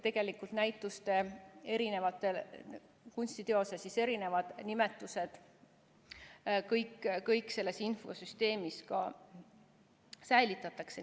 Tegelikult kõik näituste, kunstiteoste erinevad nimetused selles infosüsteemis ka säilitatakse.